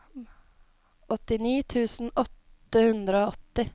åttini tusen åtte hundre og åtti